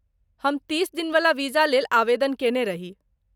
हम तीस दिनवला वीजा लेल आवेदन कएने रही।